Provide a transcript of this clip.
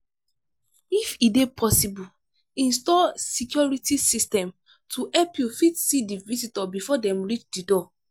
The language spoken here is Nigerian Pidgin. if e dey possible install security system to help you fit see di visitor before dem reach di door